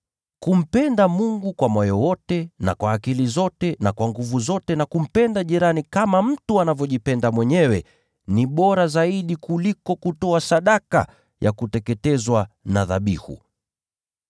Kumpenda Mungu kwa moyo wote na kwa akili zote na kwa nguvu zote, na kumpenda jirani kama mtu anavyojipenda mwenyewe ni bora zaidi kuliko kutoa sadaka za kuteketezwa na dhabihu zote.”